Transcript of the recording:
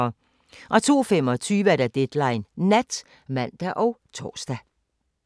02:25: Deadline Nat (man og tor)